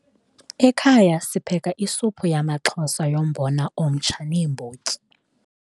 Ekhaya sipheke isuphu yamaXhosa yombona omtsha neembotyi.